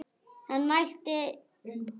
Hann mælti.